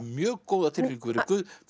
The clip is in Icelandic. mjög góða tilfinningu fyrir